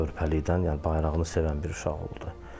Körpəlikdən, yəni bayrağını sevən bir uşaq oldu.